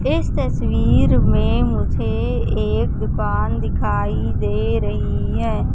इस तस्वीर में मुझे एक दुकान दिखाई दे रहीं हैं।